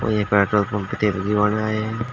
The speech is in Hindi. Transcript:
और ये पेट्रोल पंप तेल भी बना है।